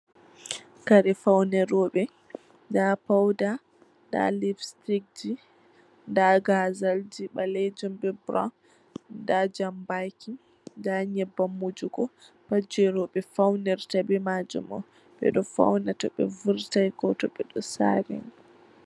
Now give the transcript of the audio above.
Kare faune robe, nɗa fauda, nda lips sitikji, nda ghazalji balejum be buraau, nɗa jambaki, nɗa nyebbam wujugo. Pat je robe faunirta be majum. Be fauna To be vurtan be majum.